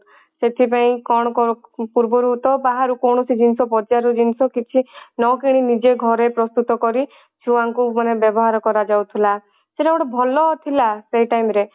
ସେଥିପାଇଁ କଣ କଣ ପୂର୍ବରୁ ତ ବାହାରୁ କୌଣସି ଜିନିଷ ବଜାର ରୁ ଜିନିଷ କିଛି ନ କିଣି ନିଜେ ଘରେ ପ୍ରସ୍ତୁତ କରି ଛୁଆ ଙ୍କୁ ମାନେ ବ୍ୟବାହାର କରା ଯାଉଥିଲା ସେଟା ଗୋଟେ ଭଲ ଥିଲା ସେଇ time ରେ